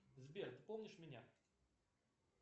сбер ты помнишь меня